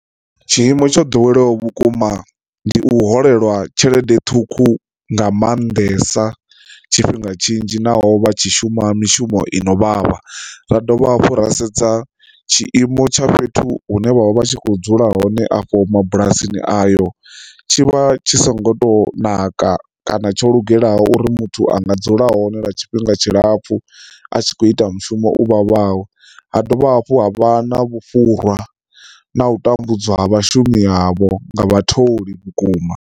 Tshiimo tsho ḓoweleaho vhukuma ndi u holeliwa tshelede ṱhukhu nga maanḓesa tshifhinga tshinzhi naho vha tshi shuma mishumo ino vhavha. Ra dovha hafhu ra sedza tshiimo tsha fhethu hune vha vha vha tshi kho dzula hone afho mabulasini ayo tshivha tshi songo to naka kana tsho lugelaho uri muthu a nga dzula hone lwa tshifhinga tshilapfu a tshi kho ita mushumo u vhavhaho. Ha dovha hafhu ha vha na vhufhura na u tambudzwa vhashumi avho nga vha tholi vhukuma.